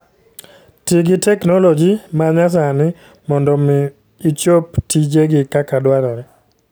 Ti gi teknoloji ma nyasani mondo omi ichop tijegi kaka dwarore.